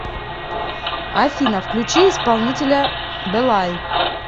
афина включи исполнителя белай